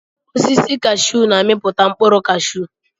Osisi kashuu na-amiputa mkpụrụ cashuu.